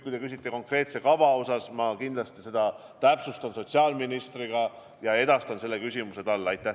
Kui te küsite konkreetse kava kohta, siis ma kindlasti täpsustan seda kõike veel sotsiaalministriga ja edastan ka selle küsimuse talle.